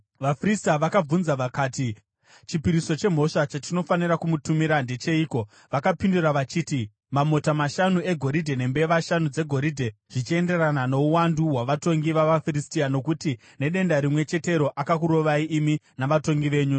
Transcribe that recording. VaFiristia vakabvunza vakati, “Chipiriso chemhosva chatinofanira kumutumira ndecheiko?” Vakapindura vachiti, “Mamota mashanu egoridhe nembeva shanu dzegoridhe, zvichienderana nouwandu hwavatongi vavaFiristia, nokuti nedenda rimwe chetero akakurovai imi navatongi venyu.